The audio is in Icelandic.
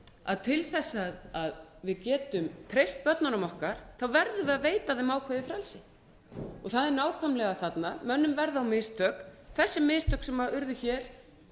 að til þess að við getum treyst börnunum okkar verðum við að veita þeim ákveðið frelsi það er nákvæmlega þarna mönnum verða á mistök þessi mistök sem urðu hér